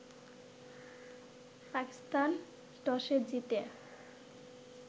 পাকিস্তান টসে জিতে